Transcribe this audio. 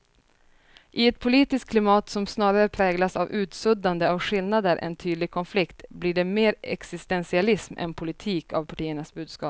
I ett politiskt klimat som snarare präglas av utsuddande av skillnader än tydlig konflikt blir det mer existentialism än politik av partiernas budskap.